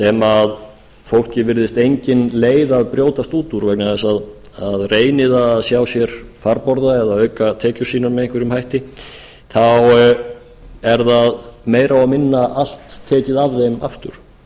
sem fólki virðist engin leið að brjótast út úr vegna þess að reyni það að sér farborða eða að auka tekjur sínar með einhverjum hætti þá er það meira og minna allt tekið af þeim aftur